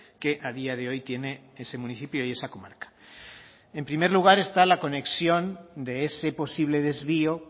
que a día de hoy tiene ese municipio y esa comarca en primer lugar está la conexión de ese posible desvío